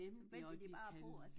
Så venter de bare på at